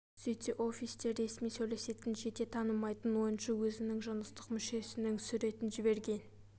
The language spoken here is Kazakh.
сөйтсе офисте ресми сөйлесетін жете танымайтын ойыншы өзінің жыныстық мүшесінің суретін жіберген